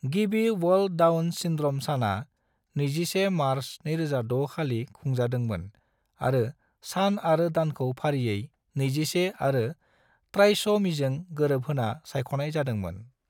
गिबि world Down syndrome सानआ 21 March 2006 खालि खुंजादोंमोन आरो सान आरो दानखौ फारियै 21 आरो ट्राइस'मीजों गोरोबहोना सायख'नाय जादोंमोन।